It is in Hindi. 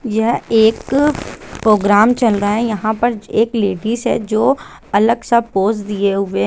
यह एक प्रोग्राम चल रहा है यह पर एक लेडिज है जो अलग सा पोस दिए हुए है।